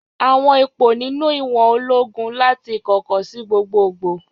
Àwọn ipò nínú ìwọ̀n ológun láti ìkọ̀kọ̀ sí gbogbogbò.